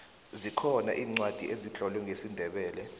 zikhona iincwadi ezitlolwe ngesindebele